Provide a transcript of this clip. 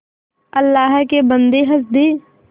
अल्लाह के बन्दे हंस दे